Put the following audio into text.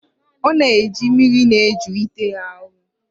Ọ na-eji mmiri na-eju ite ahụ.